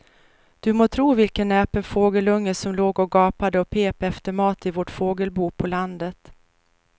Du må tro vilken näpen fågelunge som låg och gapade och pep efter mat i vårt fågelbo på landet.